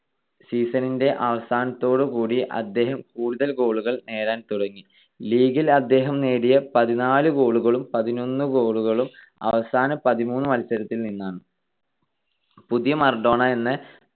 Season ന്റെ അവസാനത്തോടു കൂടി അദ്ദേഹം കൂടുതൽ goal കൾ നേടാൻ തുടങ്ങി. ലീഗിൽ അദ്ദേഹം നേടിയ പതിനാല് goal കളും പതിനൊന്ന് goal കളും അവസാന പതിമൂന്ന് മത്സരത്തിൽ നിന്നാണ്. പുതിയ മറഡോണ എന്ന്